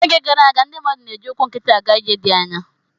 N'oge gara aga, ndị mmadụ na-eji ụkwụ nkịtị aga ije dị anya.